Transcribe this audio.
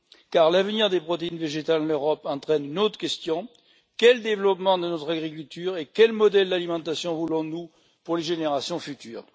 Car l'avenir des protéines végétales en Europe entraîne une autre question quel développement de notre agriculture et quel modèle d'alimentation voulons nous pour les générations futures?